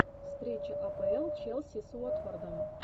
встреча апл челси с уотфордом